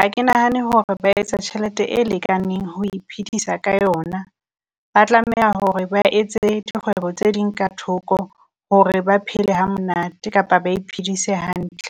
A ke nahane hore ba etsa tjhelete e lekaneng ho iphedisa ka yona, ba tlameha hore ba etse dikgwebo tse ding ka thoko hore ba phele hamonate kapa ba iphedisa hantle.